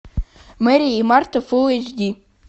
мэри и марта фул эйч ди